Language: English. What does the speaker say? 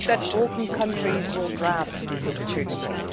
I hope that Balkan countries will grab these opportunities.